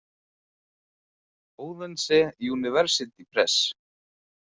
Odense University Press.